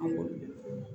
An kɔni